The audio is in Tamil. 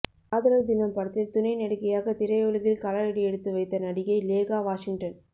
காதலர் தினம் படத்தில் துணை நடிகையாக திரையுலகில் காலடி எடுத்து வைத்த நடிகை லேகா வாஷிங்டன்